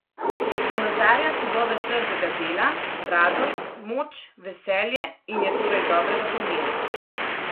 Ponazarja sadove trdega dela, radost, moč, veselje in je torej dobrega pomena.